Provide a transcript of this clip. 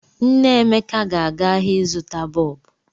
Nne Emeka na-aga ahịa ịzụta bọọbụ.